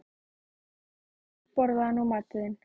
Svona, elskan mín, borðaðu nú matinn þinn.